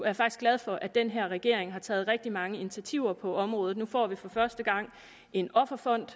er faktisk glad for at den her regering har taget rigtig mange initiativer på området nu får vi for første gang en offerfond